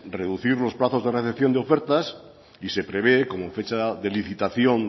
reducir los plazos de redención de ofertas y se prevé como fecha de licitación